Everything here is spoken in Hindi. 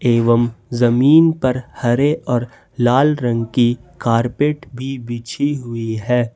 एवं जमीन पर हरे और लाल रंग की कारपेट भी बिछी हुई है।